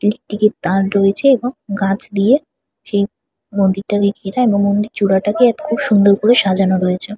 Electric -এর তার রয়েছে এবং গাছ দিয়ে সেই মন্দিরটা ঘিরা এবং মন্দির চুড়াটাকে খুব সুন্দর করে সাজানো রয়েছে।